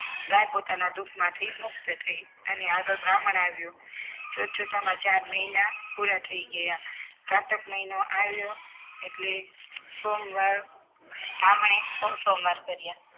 પોતાના દુઃખમાંથી મુક્ત થઈ અને આગળ બ્રાહ્મણ આવ્યો જોતજોતામાં ચાર મહિના પૂરા થઈ ગયા કારતક મહિનો આવ્યો એટલે સોમવાર બ્રાહ્મણે સો સોમવાર કર્યા